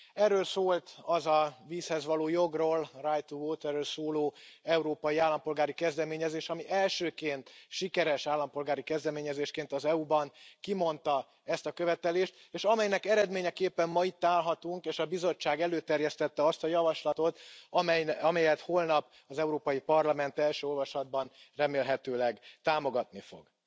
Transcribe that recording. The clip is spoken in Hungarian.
Erről szólt az a vízhez való jogról, right to water ról szóló európai állampolgári kezdeményezés, ami elsőként sikeres állampolgári kezdeményezésként az EU ban kimondta ezt a követelést, és amelynek eredményeképpen ma itt állhatunk, és a Bizottság előterjesztette azt a javaslatot, amelyet holnap az Európai Parlament első olvasatban remélhetőleg támogatni fog.